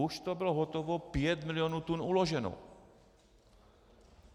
Už to bylo hotovo, 5 milionů tun uloženo.